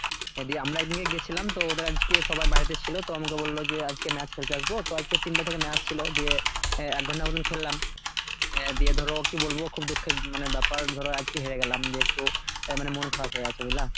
এদিকে আমরা আজকে গিয়েছিলাম তো ওদের আজকে সবাই বাড়িতে ছিল তো আমাকে বলল যে আজকে match খেলতে আসব। তো আজকে তিনটা থেকে match ছিল দিয়ে এই এক ঘণ্টার মতো খেললাম। দিয়ে ধরো কি বলবো খুব দুঃখের মানে ব্যাপার ধরো আজকে হেরে গেলাম দিয়ে একটু তাই মানে মন খারাপ হয়ে গেছে বুঝলা?